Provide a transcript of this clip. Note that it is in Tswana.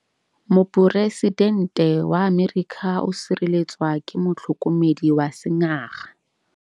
Poresitêntê wa Amerika o sireletswa ke motlhokomedi wa sengaga.